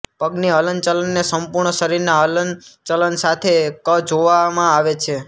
પગની હલન ચલનને સંપૂર્ણ્ શરીરના હલન ચલન સાથે ક જોવમાં આવે છે